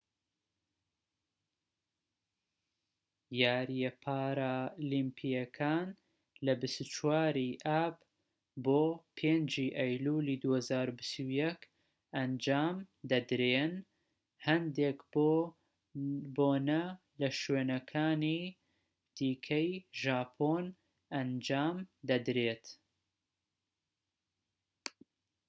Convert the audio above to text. یاریە پارالیمپیەکان لە 24 ی ئاب بۆ 5 ی ئەیلولی 2021 ئەنجام دەدرێن هەندێک بۆنە لە شوێنەکانی دیکەی ژاپۆن ئەنجام دەدرێن